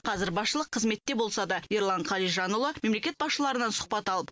қазір басшылық қызметте болса да ерлан қалижанұлы мемлекет басшыларынан сұхбат алып